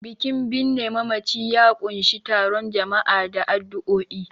Bikin binne mamaci ya ƙunshi taron jama'a da addu'o'i.